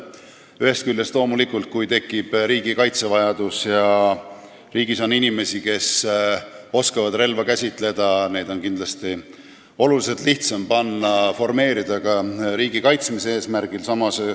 Ühest küljest loomulikult, kui tekib riigi kaitsmise vajadus ja riigis on inimesi, kes oskavad relva käsitseda, siis neid on kindlasti oluliselt lihtsam formeerida ka riigi kaitsmise eesmärgil.